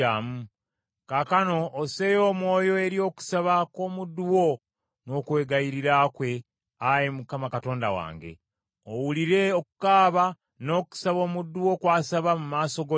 Kaakano osseeyo omwoyo eri okusaba kw’omuddu wo n’okwegayirira kwe, Ayi Mukama Katonda wange. Owulire okukaaba n’okusaba omuddu wo kw’asaba mu maaso go leero.